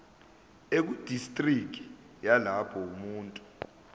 ekudistriki yalapho umuntu